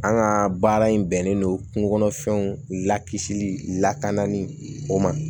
An ka baara in bɛnnen don kungo kɔnɔfɛnw la kisili lakana ni o ma